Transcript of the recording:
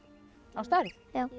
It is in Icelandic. á stærð